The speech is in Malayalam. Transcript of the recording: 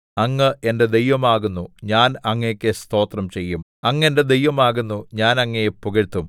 അങ്ങ് എന്റെ ദൈവമാകുന്നു ഞാൻ അങ്ങേക്കു സ്തോത്രം ചെയ്യും അങ്ങ് എന്റെ ദൈവമാകുന്നു ഞാൻ അങ്ങയെ പുകഴ്ത്തും